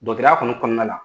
kɔni kɔnɔnala